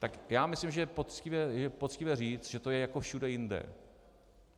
Tak já myslím, že je poctivé říct, že to je jako všude jinde.